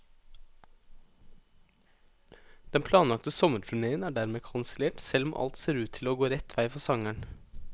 Den planlagte sommerturnéen er dermed kansellert, selv om alt ser ut til å gå rett vei for sangeren.